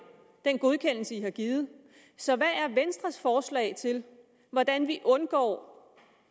den godkendelse i har givet så hvad er venstres forslag til hvordan vi undgår